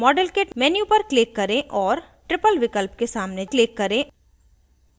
modelkit menu पर click करें और triple विकल्प के सामने click करें